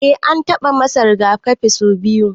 Eh an taba masa rigakafi sau biyu.